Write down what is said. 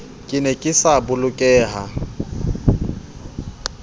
ke ne ke sa bolokeha